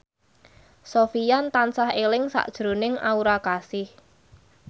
Sofyan tansah eling sakjroning Aura Kasih